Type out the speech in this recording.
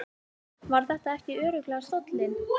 Var þetta ekki örugglega stóllinn?